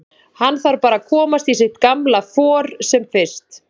Hann þarf bara að komast í sitt gamla for sem fyrst.